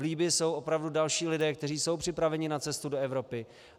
V Libyi jsou opravdu další lidé, kteří jsou připraveni na cestu do Evropy.